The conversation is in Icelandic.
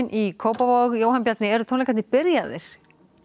í Kópavogi Jóhann Bjarni eru tónleikarnir byrjaðir